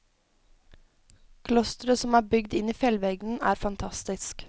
Klosteret som er bygd inn i fjellveggen er fantastisk.